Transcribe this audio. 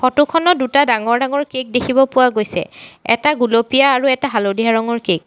Photo খনত দুটা ডাঙৰ ডাঙৰ কেক দেখিব পোৱা গৈছে এটা গুলপীয়া আৰু এটা হালধীয়া ৰঙৰ কেক ।